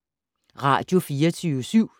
Radio24syv